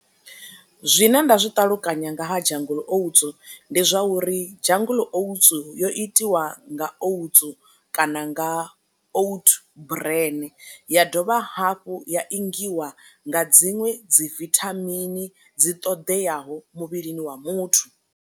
Zwine nda zwi ṱalukanya nga ha jungle oats, ndi zwa uri jungle oats yo itiwa nga oats kana nga out brene, ya dovha hafhu ya ingiwa nga dziṅwe dzi vithamini dzi ṱoḓeaho muvhilini wa muthu.